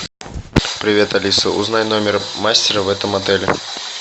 привет алиса узнай номер мастера в этом отеле